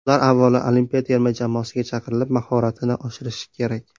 Ular avvalo olimpiya terma jamoasiga chaqirilib, mahoratini oshirishi kerak.